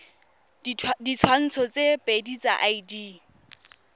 ditshwantsho tse pedi tsa id